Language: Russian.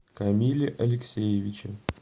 камиле алексеевиче